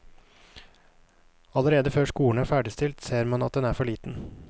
Allerede før skolen er ferdigstilt, ser man at den er for liten.